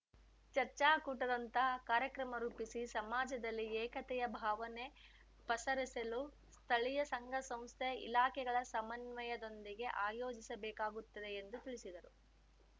ಚರ್ಚಾಕೂಟದಂತಹ ಕಾರ್ಯಕ್ರಮ ರೂಪಿಸಿ ಸಮಾಜದಲ್ಲಿ ಏಕತೆಯ ಭಾವನೆ ಪಸರಿಸಲು ಸ್ಥಳೀಯ ಸಂಘಸಂಸ್ಥೆ ಇಲಾಖೆಗಳ ಸಮನ್ವಯದೊಂದಿಗೆ ಆಯೋಜಿಸ ಬೇಕಾಗುತ್ತದೆ ಎಂದು ತಿಳಿಸಿದರು